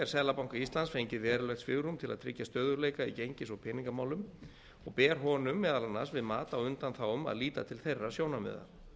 seðlabanka íslands fengið verulegt svigrúm til að tryggja stöðugleika í gengis og peningamálum og ber honum meðal annars við mat á undanþágum að líta til þeirra sjónarmiða